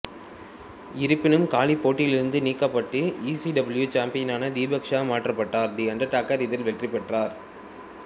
இருப்பினும் காளி போட்டியிலிருந்து நீக்கப்பட்டு இசிடபிள்யு சாம்பியனான தி பிக் ஷோ மாற்றப்பட்டார் தி அண்டர்டேக்கர் இதில் வெற்றிபெற்றார்